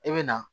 I bɛ na